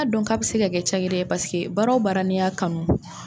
N y'a dɔn. K'a bɛ se ka kɛ cakɛ da ye, paseke baro o bara n'i y'a kanu.